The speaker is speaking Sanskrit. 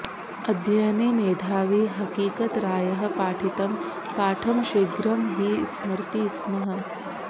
अध्ययने मेधावी हकीकतरायः पाठितं पाठं शीघ्रं हि स्मरति स्म